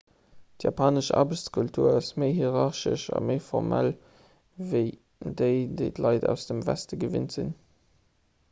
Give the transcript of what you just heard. d'japanesch aarbechtskultur ass méi hierarchesch a méi formal ewéi déi déi d'leit aus dem weste gewinnt sinn